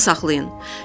Yadda saxlayın.